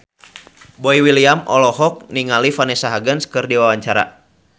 Boy William olohok ningali Vanessa Hudgens keur diwawancara